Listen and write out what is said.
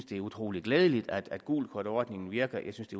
det er utrolig glædeligt at gult kort ordningen virker jeg synes